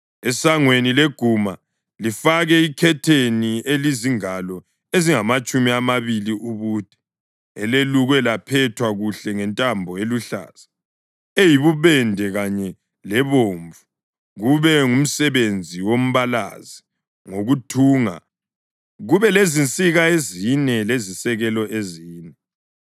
Esangweni leguma, lifake ikhetheni elizingalo ezingamatshumi amabili ubude, elelukwe laphethwa kuhle ngentambo eluhlaza, eyibubende kanye lebomvu, kube ngumsebenzi wombalazi ngokuthunga, kube lezinsika ezine lezisekelo ezine.